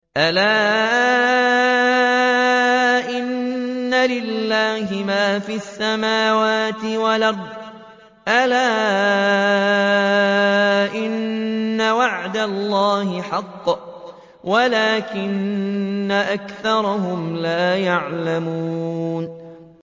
أَلَا إِنَّ لِلَّهِ مَا فِي السَّمَاوَاتِ وَالْأَرْضِ ۗ أَلَا إِنَّ وَعْدَ اللَّهِ حَقٌّ وَلَٰكِنَّ أَكْثَرَهُمْ لَا يَعْلَمُونَ